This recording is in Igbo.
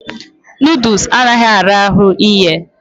Nọdụs anaghị ara ahụ ighe.